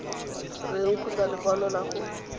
eng kgotsa lekwalo la go